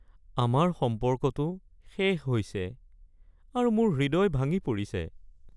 আমাৰ সম্পৰ্কটো শেষ হৈছে আৰু মোৰ হৃদয় ভাঙি পৰিছে।